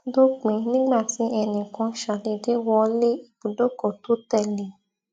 dópin nígbà tí ẹnì kan ṣàdédé wọ lé ibùdókò tó tè lé e